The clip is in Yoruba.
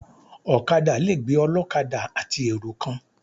Ọ̀kadà le gbé ọlọ́kadà àti èrò kan.